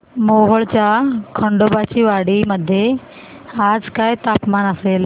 मोहोळच्या खंडोबाची वाडी मध्ये आज काय तापमान असेल